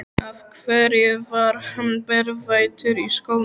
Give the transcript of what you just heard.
Af hverju var hann berfættur í skónum?